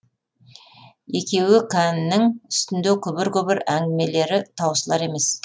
екеуі кәннің үстінде күбір күбір әңгімелері таусылар емес